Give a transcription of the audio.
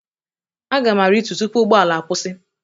Aga m aritu tupu ụgbọ ala akwụsị.